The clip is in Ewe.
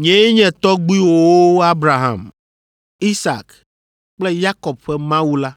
‘Nyee nye tɔgbuiwòwo Abraham, Isak kple Yakob ƒe Mawu la.’